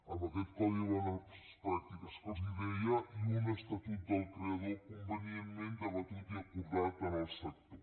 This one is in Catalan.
amb aquest codi de bones pràctiques que els deia i un estatut del creador convenientment debatut i acordat amb el sector